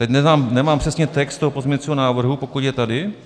Teď nemám přesně text toho pozměňovacího návrhu, pokud je tady.